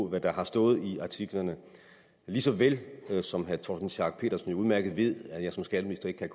hvad der har stået i artiklerne lige så vel som herre torsten schack pedersen udmærket ved at jeg som skatteminister ikke kan